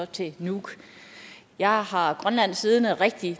til nuuk jeg har grønland siddende rigtig